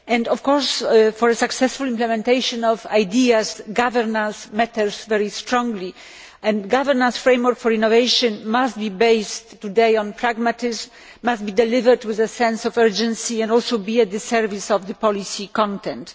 Of course, for a successful implementation of ideas, governance matters very strongly and a governance framework for innovation must be based today on pragmatism and must be delivered with a sense of urgency, and also must be at the service of the policy content.